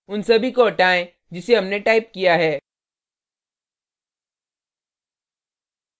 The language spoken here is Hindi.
उन सभी को हटाएँ जिसे हमने टाइप किया है